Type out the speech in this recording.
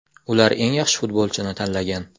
Ular eng yaxshi futbolchini tanlagan.